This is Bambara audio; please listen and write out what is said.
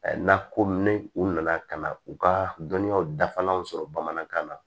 N'a ko ni u nana ka na u ka dɔnniyaw dafalan sɔrɔ bamanankan na